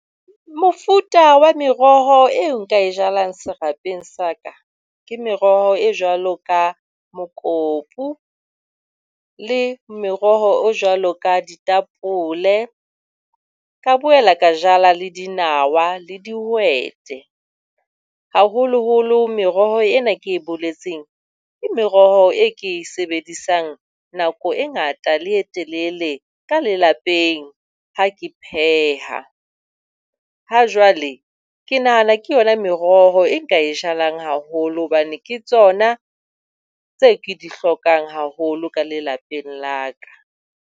Mofuta wa meroho eo nka e jalang serapeng sa ka ke meroho e jwalo ka mokopo le meroho e jwalo ka ditapole, ka boela ka jala le dinawa le dihwete. Haholoholo meroho ena eo ke e boletseng ke meroho e ke e sebedisang nako e ngata le e telele ka lelapa ha ke pheha. Ha jwale ke nahana ke yon meroho e nka e jalang haholo hobane ke tsona tse ke di hlokang haholo ka lelapeng la ka.